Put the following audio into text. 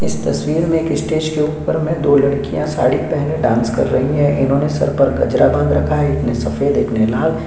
इस तस्वीर में स्टेज पर दो लड़किया साड़ी पहने कर डांस कर रही है इन्होने सर पर गजरा बांध रखा है एक ने सफेद एक ने लाल --